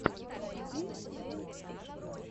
найти сэйнт этилла